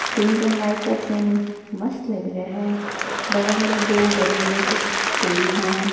Pink and white का theme मस्त लग रहे हैं बगल में दो बड़े बड़े कुछ पेड़ हैं।